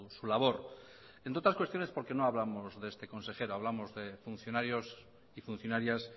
su labor entre otras cuestiones porque no hablamos de este consejero hablamos de funcionarios y funcionarias